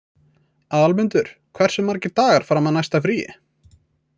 Aðalmundur, hversu margir dagar fram að næsta fríi?